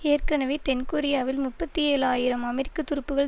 ஏற்கனவே தென்கொரியாவில் முப்பத்தி ஏழு ஆயிரம் அமெரிக்க துருப்புகள்